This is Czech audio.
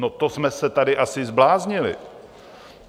No, to jsme se tady asi zbláznili!